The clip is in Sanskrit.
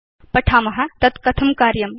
पठाम तद् कथं कार्यमिति